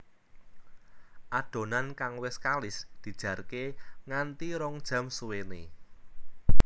Adonan kang wis kalis dijarke nganti rong jam suwéné